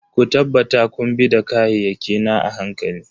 Ku tabbata kun bi da kayayyaki na a hankali.